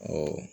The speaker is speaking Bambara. Ɔ